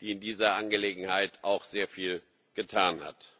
die in dieser Angelegenheit auch sehr viel getan hat.